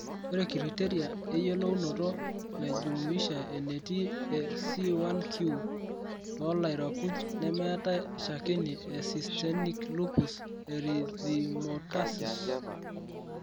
Ore Criteria eyiolounoto naijumuisha entii e C1q tolairakuji nemeetai shakeni e systenic lupus erythematosus.